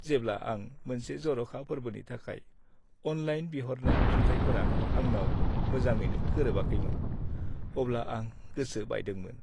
जेब्ला आं मोनसे जर'खा फोरबोनि थाखाय अनलाइन बिहरनाय जुथाइफोरा आंनाव मोजाङैनो गोरोबाखैमोन, अब्ला आं गोसो बायदोंमोन।